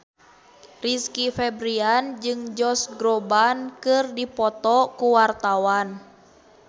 Rizky Febian jeung Josh Groban keur dipoto ku wartawan